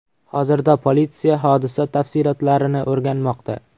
Hozirda politsiya hodisa tafsilotlarini o‘rganmoqda.